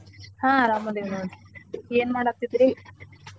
ಹಾ ಅರಮದೇವ್ ನೋಡ್ರೀ ಏನ್ ಮಾಡಾತಿದ್ರಿ?